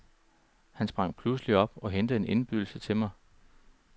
Han sprang pludselig op og hentede en indbydelse til mig.